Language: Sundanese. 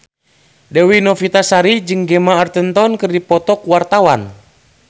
Dewi Novitasari jeung Gemma Arterton keur dipoto ku wartawan